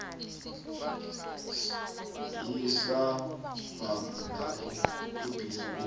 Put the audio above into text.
yesabhabhu lapho ibhizinisi